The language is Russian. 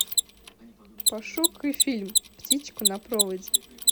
пошукай фильм птичку на проводе